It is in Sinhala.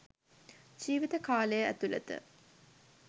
ජීවිත කාලය ඇතුලත